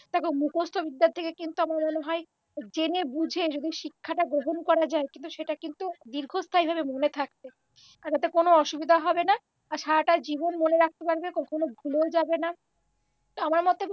দেখ মুখস্থ বিদ্যার থেকে কিন্তু আমার মনেহয় জেনে বুঝে যদি শিক্ষাটা গ্রহণ করা যায় কিন্তু সেটা কিন্তু দীর্ঘস্থায়ী ভাবে মনে থাকবে তাতে কোনও অসুবিধা হবেনা আর সারাটা জীবন মনে রাখতে পারবে কখনও ভুলেও যাবেনা আমার মতে